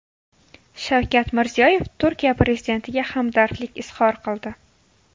Shavkat Mirziyoyev Turkiya prezidentiga hamdardlik izhor qildi .